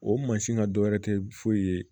O mansin ŋa dɔ wɛrɛ tɛ foyi ye